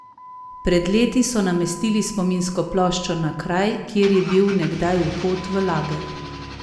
Pred leti so namestili spominsko ploščo na kraj, kjer je bil nekdaj vhod v lager.